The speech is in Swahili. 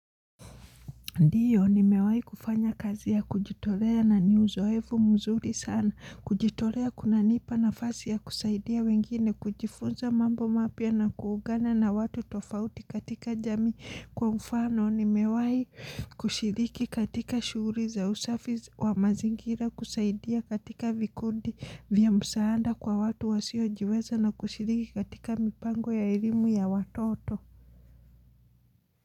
Ndiyo nimewai kufanya kazi ya kujitolea na ni uzoefu mzuri sana, kujitolea kunanipa nafasi ya kusaidia wengine, kujifunza mambo mapya na kuungana na watu tofauti katika jamii kwa mfano, nimewai kushiriki katika shughulii za usafi wa mazingira, kusaidia katika vikundi vya msaanda kwa watu wasiojiweza na kushiriki katika mipango ya elimu ya watoto.